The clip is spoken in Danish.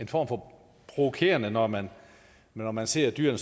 en form for provokerende når man når man ser dyr